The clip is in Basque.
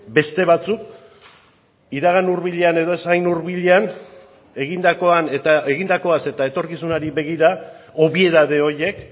beste batzuk iragan hurbilean edo ez hain hurbilean egindakoan eta egindakoaz eta etorkizunari begira obiedade horiek